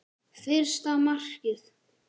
Fyrsta markið?